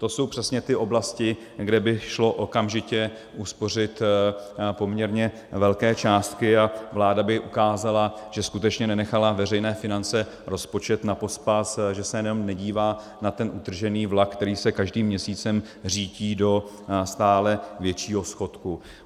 To jsou přesně ty oblasti, kde by šlo okamžitě uspořit poměrně velké částky, a vláda by ukázala, že skutečně nenechala veřejné finance, rozpočet na pospas, že se jenom nedívá na ten utržený vlak, který se každým měsícem řítí do stále většího schodku.